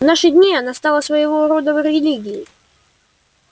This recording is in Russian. в наши дни она стала своего рода религией